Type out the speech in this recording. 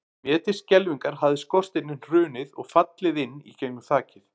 Mér til skelfingar hafði skorsteinninn hrunið og fallið inn í gegnum þakið.